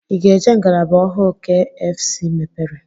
Ị ga-eje ngalaba ọhụụ kfc mepere?